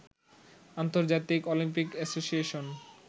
আন্তর্জাতিক Olympic association